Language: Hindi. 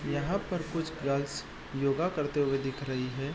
यहां पर कुछ गर्ल्स होगा करते हुए दिख रही है।